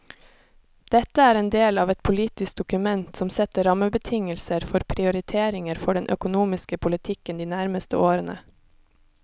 Dette er en del av et politisk dokument som setter rammebetingelser for prioriteringer for den økonomiske politikken de nærmeste årene.